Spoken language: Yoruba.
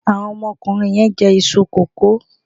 Àwọn ọmọkùnrin yẹn ń jẹ iṣu kókò.